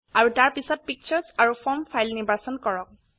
আৰু তাৰ পিছত পিকচাৰ আৰু ফ্ৰম ফাইল নিৰ্বাচন কৰক